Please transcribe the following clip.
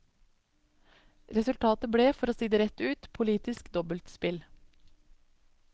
Resultatet ble, for å si det rett ut, politisk dobbeltspill.